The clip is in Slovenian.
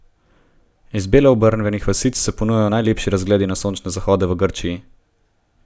Iz belo obarvanih vasic se ponujajo najlepši razgledi na sončne zahode v Grčiji!